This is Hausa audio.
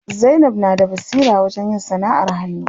Zainab na da basira wajen yin sanaʼar hannu.